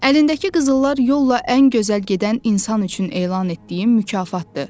Əlindəki qızıllar yolla ən gözəl gedən insan üçün elan etdiyim mükafatdır.